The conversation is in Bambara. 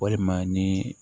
Walima ni